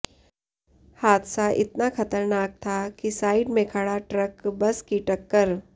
हादसा इतना खतरनाक था कि साइड में खड़ा ट्रक बस की टक्कर